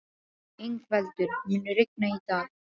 Yngveldur, mun rigna í dag?